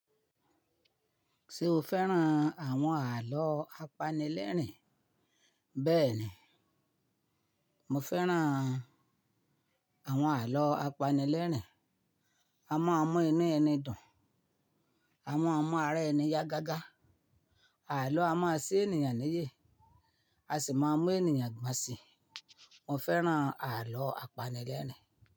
Ṣé o fẹ́ràn àwọn àlọ́ apanilẹ́rìn? Bẹ́ẹ̀ni, mo fẹ́ràn àwọn àlọ́ apanilẹ́rìn. A máa mún inú ẹni dùn, a máa mún ara ẹni yá gágá. Àlọ́ a máa ṣí ènìyàn níyè, a sì máa mú ènìyàn gbọ̀nsìn. Mo fẹ́ràn àlọ́ apanilẹ́rìn.